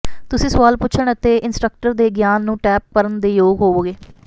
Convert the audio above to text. ਤੁਸੀਂ ਸਵਾਲ ਪੁੱਛਣ ਅਤੇ ਇੰਸਟ੍ਰਕਟਰ ਦੇ ਗਿਆਨ ਨੂੰ ਟੈਪ ਕਰਨ ਦੇ ਯੋਗ ਹੋਵੋਗੇ